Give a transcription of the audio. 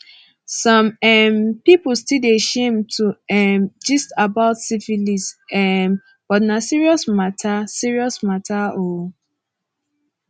some um people still dey shame to um gist about syphilis um but na serious matter serious matter oo